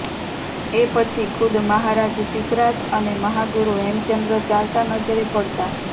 એ પછી ખુદ મહારાજ સિદ્ધરાજ અને મહાગુરુ હેમચંદ્ર ચાલતા નજરે પડતા